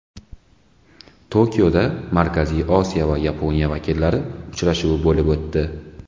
Tokioda Markaziy Osiyo va Yaponiya vakillari uchrashuvi bo‘lib o‘tdi.